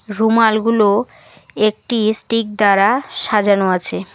রুমালগুলো একটি স্টিক দ্বারা সাজানো আছে।